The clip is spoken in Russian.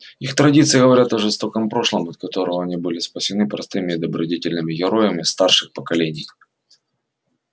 их традиции говорят о жестоком прошлом от которого они были спасены простыми и добродетельными героями старших поколений